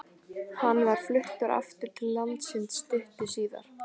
Hann var fluttur aftur til landsins stuttu síðar.